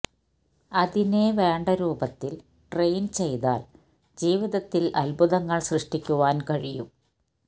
അതിനെ വേണ്ട രൂപത്തിൽ ട്രെയിൻ ചെയ്താൽ ജീവിതത്തിൽ അദ്ഭുതങ്ങൾ സൃഷ്ടിക്കുവാൻ കഴിയും